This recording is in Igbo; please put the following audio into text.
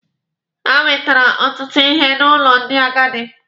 Ha wetere ọtụtụ ihe n'ụlọ ndị agadi.